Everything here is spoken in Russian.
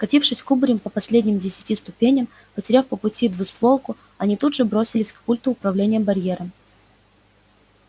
скатившись кубарем по последним десяти ступеням потеряв по пути двустволку они тут же бросились к пульту управления барьером